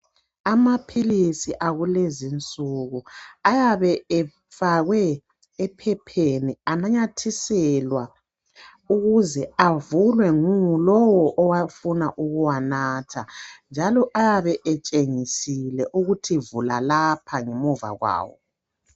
Amaphilisi akulezi insuku ayabe efakwe ephepheni ananyathiselwa ukuze avulwe ngulowo owafuna ukuwanatha njalo ayabe etshengisiwe ukuthi vula lapha ngemuva kwawo.